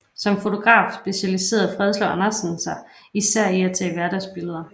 Som fotograf specialiserede Fredslund Andersen sig især i at tage hverdagsbilleder